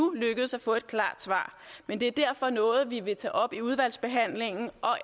lykkedes at få et klart svar men det er derfor noget vi vil tage op i udvalgsbehandlingen